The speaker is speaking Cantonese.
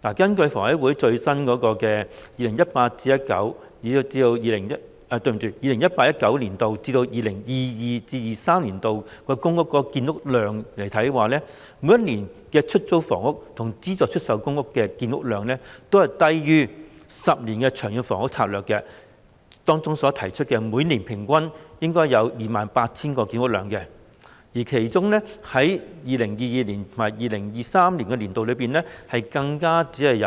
根據香港房屋委員會最新的 2018-2019 年度至 2022-2023 年度的公營房屋建設計劃數字，每一年度的出租公屋及資助出售公屋的建屋量，均低於《長遠房屋策略》中未來10年期每年公營房屋建屋量的平均數 28,000 個單位，其中 2022-2023 年度總建屋量，更只有